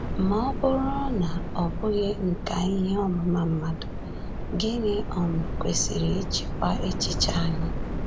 Ma ọ bụrụ na ọ bụghị nkà ihe ọmụma mmadụ, gịnị um kwesịrị ịchịkwa echiche anyị?